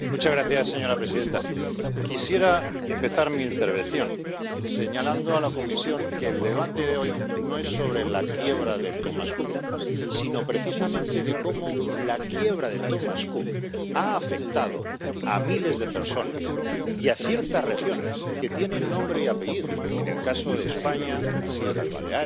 Señora presidenta, quisiera empezar mi intervención señalando a la Comisión que el debate de hoy no es sobre la quiebra de Thomas Cook, sino precisamente sobre cómo la quiebra de Thomas Cook ha afectado a miles de personas y a ciertas regiones que tienen nombre y apellido —en el caso de España las Islas Baleares,